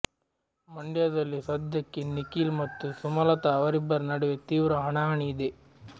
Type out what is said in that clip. ಮಂಡ್ಯದಲ್ಲಿ ಸದ್ಯಕ್ಕೆ ನಿಖಿಲ್ ಮತ್ತು ಸುಮಲತ ಅವರಿಬ್ಬರ ನಡುವೆ ತೀವ್ರ ಹಣಾಹಣಿ ಇದೆ